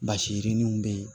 Basi yirininw bɛ yen